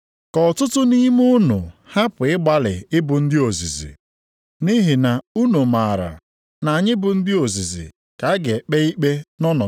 Ụmụnna m, ka ọtụtụ nʼime unu hapụ ịgbalị ịbụ ndị ozizi, nʼihi na unu maara na anyị bụ ndị ozizi ka a ga-ekpe ikpe nʼọnọdụ sikarịrị ike.